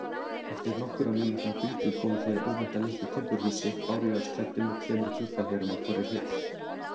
Eftir nokkurra mínútna göngu komu þeir óvænt að litlu timburhúsi, bárujárnsklæddu með tveimur gluggahlerum á hvorri hlið.